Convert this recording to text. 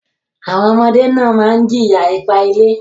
Àwọn ọmọdé náà máa ń jìyà ipá-ilé.